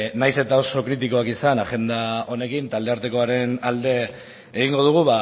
nahiz eta oso kritikoak izan agenda honekin taldearteakoaren alde egingo dugu